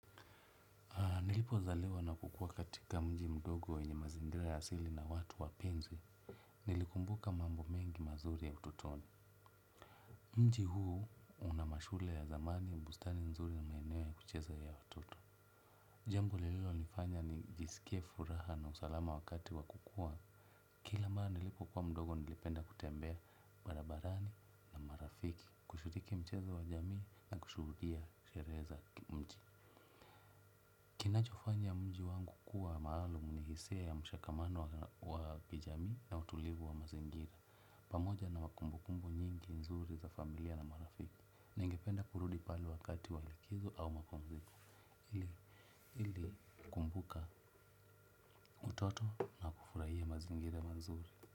Na nilipo zaliwa na kukua katika mji mdogo wenye mazingira ya asili na watu wapenzi, nilikumbuka mambo mengi mazuri ya utotoni. Mji huu unamashule ya dhamani bustani nzuri na maeneo ya kucheza ya watoto. Jambo lilo nifanya ni jisikie furaha na usalama wakati wa kukua. Kila mara nilipo kuwa mdogo nilipenda kutembea barabarani na marafiki, kushiriki mchezo wa jamii na kushuhudia sherehe za kimji. Kinachofanya mji wangu kuwa maalum nihisia ya mshakamano wa kijamii na utulivu wa mazingira. Pamoja na wakumbukumbu nyingi nzuri za familia na marafiki ningependa kurudi pale wakati wa likizo au mapumziko ili kumbuka utoto na kufurahia mazingira mazuri.